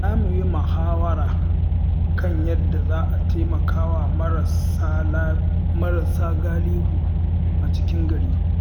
Za mu yi muhawara kan yadda za a taimaka wa marasa galihu a cikin gari.